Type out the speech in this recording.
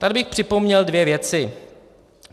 Tady bych připomněl dvě věci.